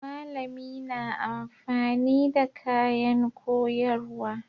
Malami na amfani da kayan koyarwa.